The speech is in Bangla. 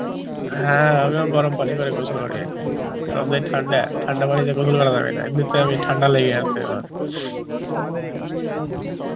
হ্যাঁ আমিও গরম পানি করে গোসল করি কারণ যা ঠান্ডা, ঠান্ডা পানিতে গোসল করা যাবে না এমনিতে আমি ঠান্ডা লেগে গেছে আমার